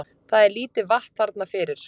Það er lítið vatn þarna fyrir